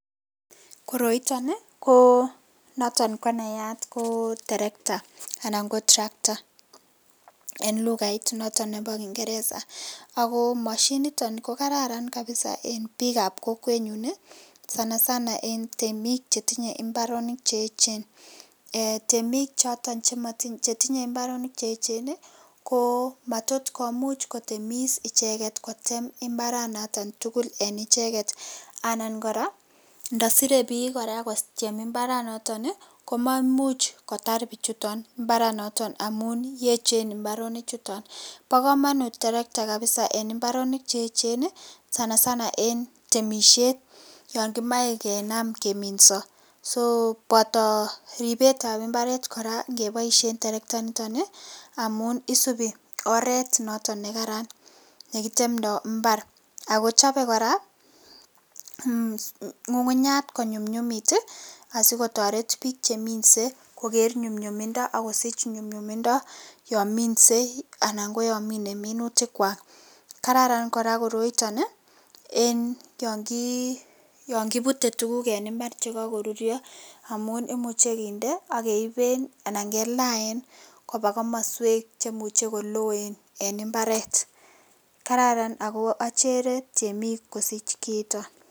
koroi nito koo noton konayat koo terekta anan ko tractor en lugait noton nebo kingereza ago moshinit nito kogararan kabiza en biik ab kokwet nyun ii sanasana en temiik chetinye mbaronik cheechen um eeh temik choton chetinye mbaronik cheechen ii, koo maat komuch kotemis ichek kotem mbaran noton tugul en icheget anan koraa ndosiree biik koraa kotem mbaranoton ii komamuch kotaar biichuton mbaranoton amuun yechen mbaronik chuton, bogomonut terekta kabiza en mbaronik cheechen ii sanasana en temisyeet yon kemoe kinaam keminso um soo boto riibet ab mbareet koraa ngeboisien terekta initon ii amun isubii oret noton negaran yekitemdoo imbaar ago chobe koraa ngungunyaach konyumyumit asikotoret biik cheminse kogeer nyumnyumindo ak kosich nyumnyumindo yoon minse anan ko yomine minutik kwaak kararan koraa koroiton ii en yon kiibute tuguk en imbar chegagoruryo omun kimuche kinde ak keiben anan kelaen koba komosweek chemuche koloen etn imbareet kararan ago ocheree temiik kosich kiiton